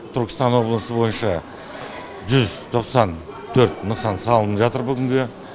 түркістан облысы бойынша жүз тоқсан төрт нысан салынып жатыр бүгінге